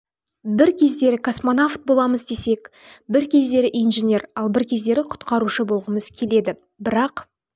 бір кездері космонавт боламыз десек бір кездері инженер ал бір кездері құтқарушы болғымыз келеді бірақ